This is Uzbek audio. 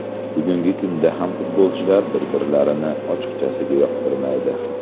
Bugungi kunda ham futbolchilar bir-birlarini ochiqchasiga yoqtirmaydi.